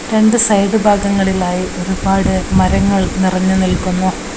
രണ്ട് സൈഡ് ഭാഗങ്ങളിലായി ഒരുപാട് മരങ്ങൾ നിറഞ്ഞുനിൽക്കുന്നു.